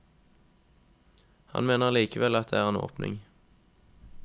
Han mener likevel at det er en åpning.